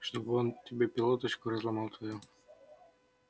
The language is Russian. чтобы он тебе пилоточку разломал твою